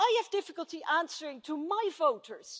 Well I have difficulty answering my voters.